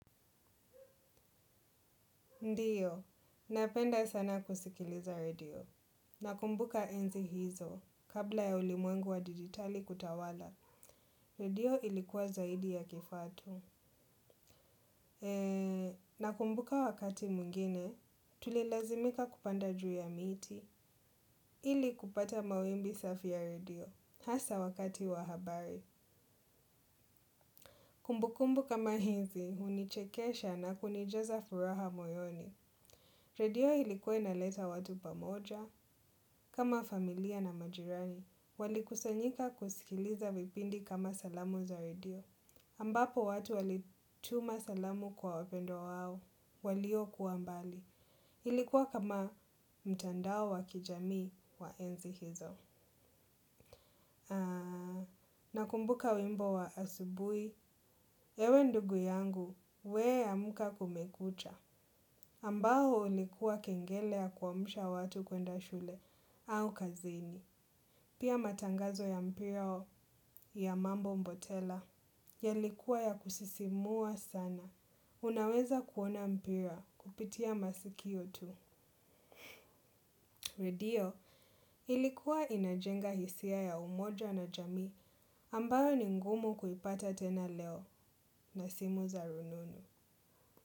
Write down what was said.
Ndiyo, napenda sana kusikiliza radio. Nakumbuka enzi hizo. Kabla ya ulimwengu wa digitali kutawala, radio ilikuwa zaidi ya kifaa tu. Nakumbuka wakati mwingine, tulilazimika kupanda juu ya miti ili kupata mawimbi safi ya radio. Hasaa wakati wa habari. Kumbu kumbu kama hizi, hunichekesha na kunijaza furaha moyoni. Radio ilikuwa inaleta watu pamoja, kama familia na majirani. Walikusanyika kusikiliza vipindi kama salamu za radio. Ambapo watu walituma salamu kwa wapendwa wao, walio kuwa mbali. Ilikuwa kama mtandao wa kijami wa enzi hizo. Nakumbuka wimbo wa asubuhi, ewe ndugu yangu, we amka kumekucha, ambao ulikuwa kengele ya kuamsha watu kwenda shule au kazini. Pia matangazo ya mpira ya mambo mbotela, yalikuwa ya kusisimua sana. Unaweza kuona mpira kupitia masikio tu. Redio ilikuwa inajenga hisia ya umoja na jamii ambayo ni ngumu kuipata tena leo na simu za rununu.